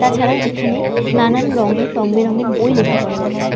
তাছাড়া এখানে নানান রং এর রং বেরঙের বই লক্ষ্য করা যাচ্ছে।